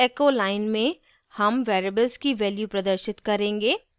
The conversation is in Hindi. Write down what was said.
इस echo line में हम variables की value प्रदर्शित करेंगे